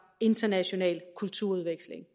international kulturudveksling